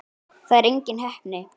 Það er engin heppni.